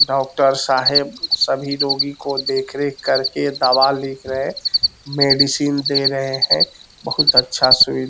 doctor साहब सभी रोगी को देख रेख करके दवा लिख रहें मेडिसिन दे रहें हैं बहुत अच्छा सुई --